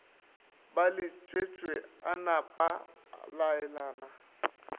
ba letšwetše a napaa laelana